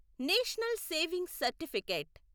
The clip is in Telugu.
national saving certificate